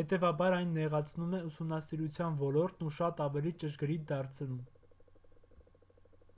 հետևաբար այն նեղացնում է ուսումնասիրության ոլորտն ու շատ ավելի ճշգրիտ դարձնում